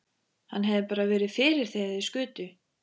Hann hefði bara verið fyrir þegar þeir skutu.